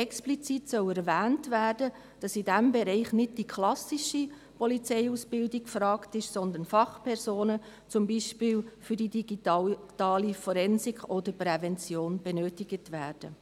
Explizit soll erwähnt werden, dass in diesem Bereich nicht die klassische Polizeiausbildung gefragt ist, sondern dass Fachpersonen, zum Beispiel für die digitale Forensik oder Prävention, benötigt werden.